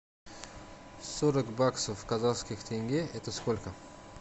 сорок баксов в казахских тенге это сколько